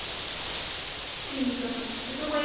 ਠੀਕ ਆ ਤੇ ਤੂੰ ਮੇਰੀ